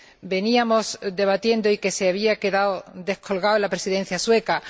veníamos debatiendo y que se había quedado descolgado en la Presidencia sueca.